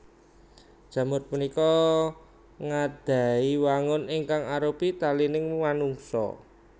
Jamur punika nggadhahi wangun ingkang arupi talingan manungsa